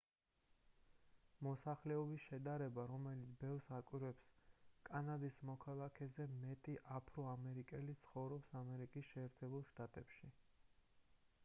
მოსახლეობის შედარება რომელიც ბევრს აკვირვებს კანადის მოქალაქეზე მეტი აფრო-ამერიკელი ცხოვრობს აშშ-ში